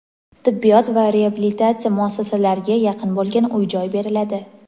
tibbiyot va reabilitatsiya muassasalariga yaqin bo‘lgan uy-joy beriladi.